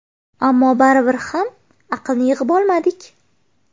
Ammo baribir ham aqlni yig‘ib olmadik.